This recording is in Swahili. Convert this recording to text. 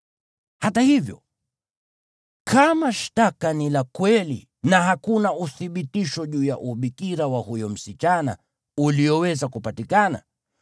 Hata hivyo, kama shtaka ni la kweli na hakuna uthibitisho juu ya ubikira wa huyo msichana ulioweza kupatikana,